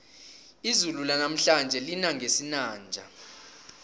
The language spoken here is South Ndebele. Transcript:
izulu lanamhlanje lina ngesinanja